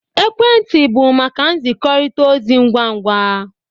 Ekwentị bụ maka nzikọrịta ozi ngwa ngwa